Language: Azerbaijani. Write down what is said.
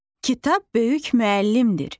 Kitab böyük müəllimdir.